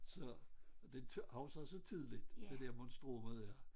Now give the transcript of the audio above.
Så og det husker også tydeligt det der monstrummet er